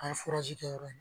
An ye kɛ yɔrɔ